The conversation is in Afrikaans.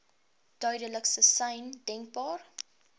duidelikste sein denkbaar